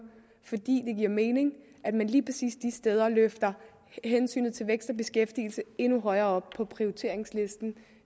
fordi det giver mening at man lige præcis de steder løfter hensynet til vækst og beskæftigelse endnu højere op på prioriteringslisten